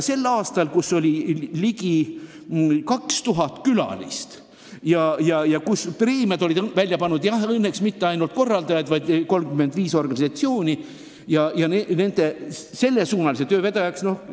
Sel aastal oli üritusel ligi 2000 külalist ja preemiad olid välja pannud õnneks mitte ainult korraldajad, vaid ka 35 organisatsiooni, sellesuunalise töö vedajat.